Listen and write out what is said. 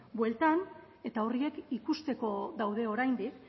bueltan eta horiek ikusteko daude oraindik